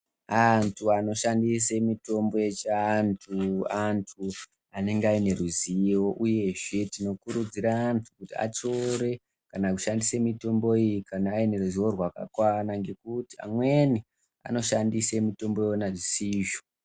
Antu anoshandiswe mitombo yechiantu antu anenge aine ruzivo uyezve tinokurudziRa antu kuti atore kana kushandisa mitombo iyi kana aine ruzivo rwakakwana ngekuti amweni anoshandisw mitombo Yona zvisizvo.